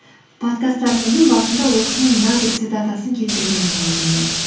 подкасттарымыздың басында ол кісінің мына бір цитатасын келтірген болатынмын